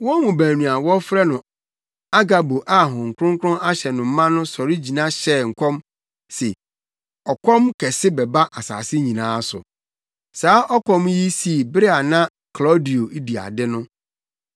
Wɔn mu baako a wɔfrɛ no Agabo a Honhom Kronkron ahyɛ no ma no sɔre gyina hyɛɛ nkɔm se ɔkɔm kɛse bɛba asase nyinaa so. Saa ɔkɔm yi sii bere a na Klaudio di ade no.